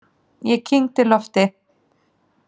Ég kyngdi lofti.